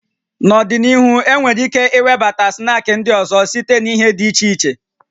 N'ọdịnihu, enwere ike iwebata snaakị ndị ọzọ site na ihe dị iche iche